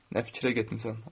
Nə fikrə getmisən?